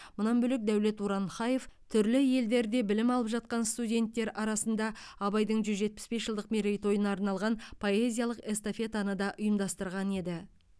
мұнан бөлек дәулет уранхаев түрлі елдерде білім алып жатқан студенттер арасында абайдың жүз жетпіс бес жылдық мерейтойына арналған поэзиялық эстафетаны да ұйымдастырған еді